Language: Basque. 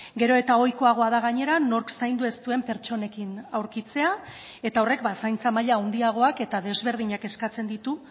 gero eta ohikoagoa da gainera nork zaindu ez duen pertsonekin aurkitzea eta horrek zaintza maila handiagoak eta desberdinak eskatzen ditu